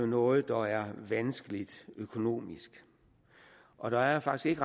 noget der er vanskeligt økonomisk og der er faktisk